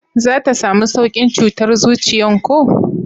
za ta samu saukin cutar zuciyan ko?